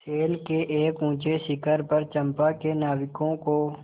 शैल के एक ऊँचे शिखर पर चंपा के नाविकों को